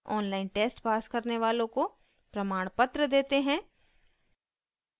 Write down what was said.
online test pass करने वालों को प्रमाणपत्र देते हैं